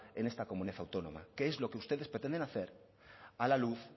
en esta comunidad autónoma que es lo que ustedes pretenden hacer a la luz